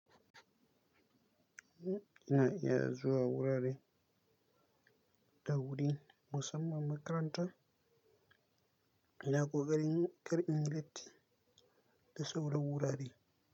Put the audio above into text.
Ina iya zuwa wurare da wuri musamman makaranta, ina koka ri, kar inyi latti da sauran wurare.